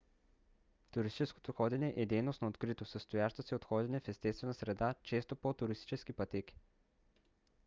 туристическото ходене е дейност на открито състояща се от ходене в естествена среда често по туристически пътеки